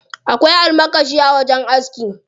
Akwai almakashi a wajen aski.